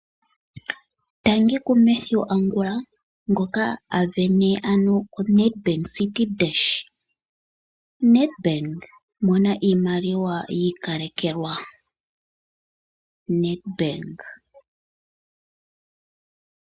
Tangi ku Mathew Angula ngono a vene ano Nedbank Citi Dash. Nedbank mona iimaliwa yi ikalekelwa. Nedbank.